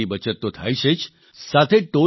તેનાથી સમયની બચત તો થાય છે જ